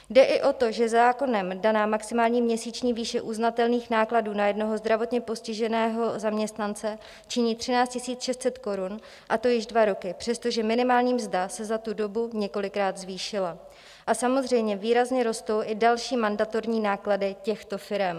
Jde i o to, že zákonem daná maximální měsíční výše uznatelných nákladů na jednoho zdravotně postiženého zaměstnance činí 13 600 korun, a to již dva roky, přestože minimální mzda se za tu dobu několikrát zvýšila a samozřejmě výrazně rostou i další mandatorní náklady těchto firem.